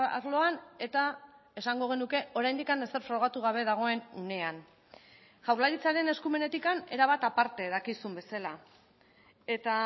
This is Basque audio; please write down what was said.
arloan eta esango genuke oraindik ezer frogatu gabe dagoen unean jaurlaritzaren eskumenetik erabat aparte dakizun bezala eta